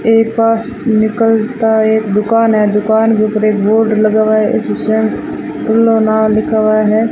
एक पास निकलता एक दुकान है दुकान के ऊपर एक बोर्ड लगा हुआ है उसपे लिखा हुआ है।